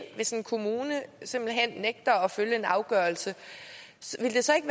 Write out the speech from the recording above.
hvis en kommune simpelt hen nægter at følge en afgørelse vil det så ikke